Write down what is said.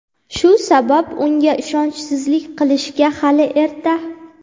shu sabab unga ishonchsizlik qilishga hali erta.